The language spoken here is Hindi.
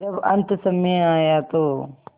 जब अन्तसमय आया तो